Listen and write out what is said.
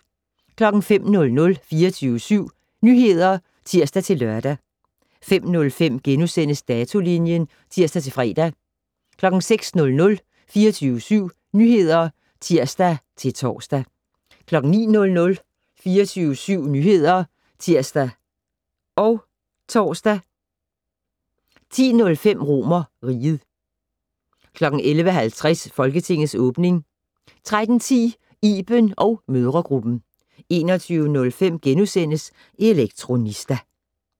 05:00: 24syv Nyheder (tir-lør) 05:05: Datolinjen *(tir-fre) 06:00: 24syv Nyheder (tir-tor) 09:00: 24syv Nyheder (tir og tor) 10:05: RomerRiget 11:50: Folketingets åbning 13:10: Iben & mødregruppen 21:05: Elektronista *